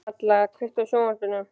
Malla, kveiktu á sjónvarpinu.